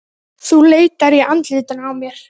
Þú leitar í andlitinu á mér.